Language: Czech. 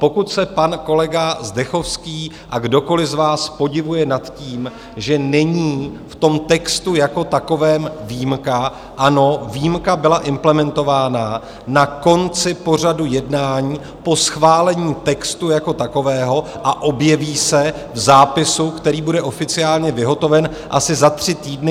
Pokud se pan kolega Zdechovský a kdokoliv z vás podivuje nad tím, že není v tom textu jako takovém výjimka, ano, výjimka byla implementována na konci pořadu jednání po schválení textu jako takového a objeví se v zápisu, který bude oficiálně vyhotoven asi za tři týdny.